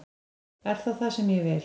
Er það það sem ég vil?